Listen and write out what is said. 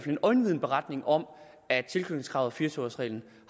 en øjenvidneberetning om at tilknytningskravet og fire og tyve års reglen